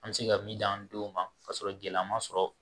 An bɛ se ka min di an denw ma k'a sɔrɔ gɛlɛya ma sɔrɔ